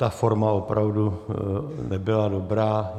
Ta forma opravdu nebyla dobrá.